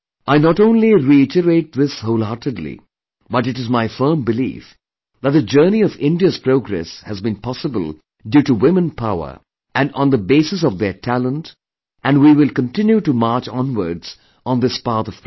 I not only reiterate this wholeheartedly but it is my firm belief that the journey of India's progress has been possible due to womenpower and on the basis of their talent and we will continue to march onwards on this path of progress